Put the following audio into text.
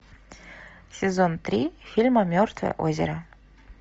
сезон три фильма мертвое озеро